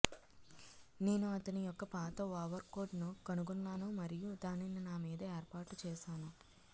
నేను అతని యొక్క పాత ఓవర్కోట్ ను కనుగొన్నాను మరియు దానిని నా మీద ఏర్పాటు చేసాను